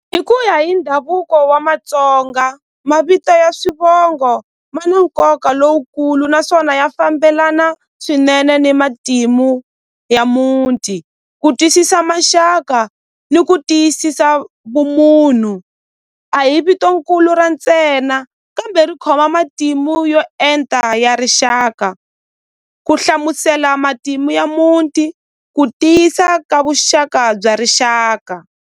I ku ya hi ndhavuko wa Matsonga mavito ya swivongo ma na nkoka lowukulu naswona ya fambelana swinene ni matimu ya muti ku tyiisisa maxaka ni ku tiyisisa vumunhu a hi vito nkulu ra ntsena kambe ri khoma matimu yo enta ya rixaka ku hlamusela matimu ya muti ku tiyisa ka vuxaka bya rixaka.